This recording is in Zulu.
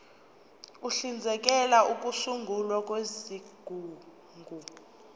uhlinzekela ukusungulwa kwezigungu